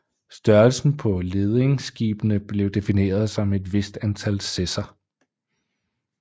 Størrelsen på ledingskibene blev defineret som et vist antal sesser